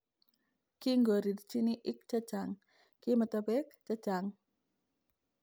kingorirchini ik chechang: kimito pek chechang